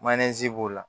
b'o la